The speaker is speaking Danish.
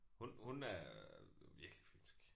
Hun hun er virkelig fynsk